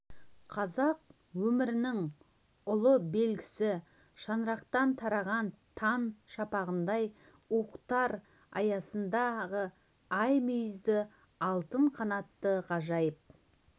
қазақ өмірінің ұлы белгісі шаңырақтан тараған таң шапағындай уықтар аясындағы ай мүйізді алтын қанатты ғажайып